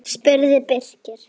spurði Birkir.